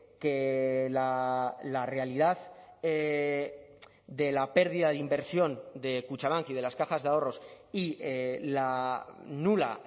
que la realidad de la pérdida de inversión de kutxabank y de las cajas de ahorros y la nula